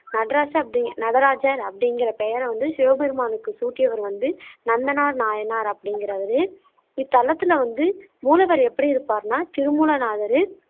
நடராசு அப்படிங்க் நடராஜர் அப்படிங்குற பெயரை வந்து சிவபெருமானுக்கு சூட்டியவர் வந்து நந்தனார் நாயனார் அப்படிங்குறவரு இத்தலத்துல வந்து மூலவர் எப்படி இருப்பாருன்னா திருமூல நாதரு